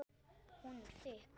Hún er þykk.